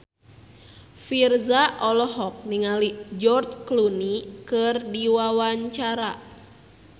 Virzha olohok ningali George Clooney keur diwawancara